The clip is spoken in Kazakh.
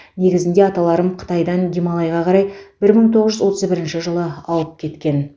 негізінде аталарым қытайдан гималайға қарай бір мың тоғыз жүз отыз бірінші жылы ауып кеткен